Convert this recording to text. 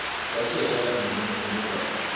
sakhelwa nemigwaco